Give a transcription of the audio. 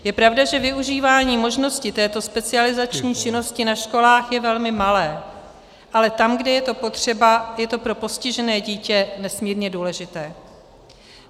Je pravda, že využívání možnosti této specializační činnosti na školách je velmi malé, ale tam, kde je to potřeba, je to pro postižené dítě nesmírně důležité.